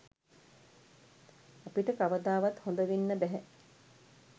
අපිට කවදාවත් හොඳවෙන්න බැහැ.